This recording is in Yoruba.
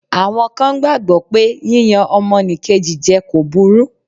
Àwọn kan gbàgbọ́ pé yíyan ọmọnìkejì jẹ kò burú.